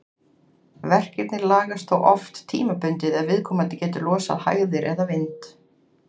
Verkirnir lagast þó oft tímabundið ef viðkomandi getur losað hægðir eða vind.